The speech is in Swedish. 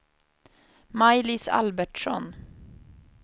Maj-Lis Albertsson